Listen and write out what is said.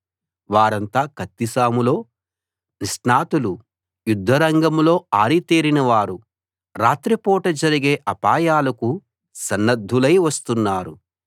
వారంతా కత్తిసాములో నిష్ణాతులు యుద్ధరంగంలో ఆరితేరిన వారు రాత్రి పూట జరిగే అపాయాలకు సన్నద్ధులై వస్తున్నారు